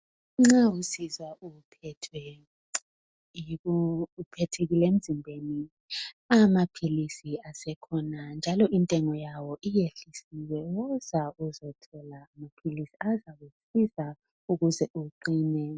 Nxa usizwa uphethekile emzimbeni amaphilisi asekhona njalo intengo yawo isiyehlisiwe woza uzothola amaphilisi azakusiza ukuze uqine